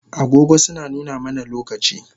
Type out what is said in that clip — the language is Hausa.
Agogo suna nuna mana lokaci